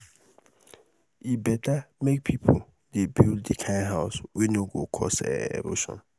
e beta um make pipo um dey build di kind house wey no go cause um erosion